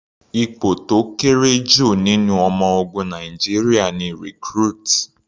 Ipò tó kéré jù nínú ọmọ ogun Nàìjíríà ni Recruit.